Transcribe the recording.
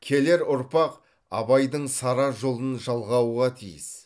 келер ұрпақ абайдың сара жолын жалғауға тиіс